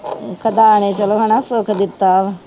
ਖੁਦਾ ਨੇ ਚਲੋ ਹਨਾ ਸੁੱਖ ਦਿੱਤਾ।